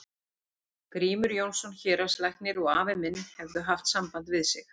Grímur Jónsson héraðslæknir og afi minn hefðu haft samband við sig.